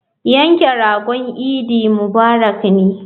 Yanke ragon idi mubarak ne.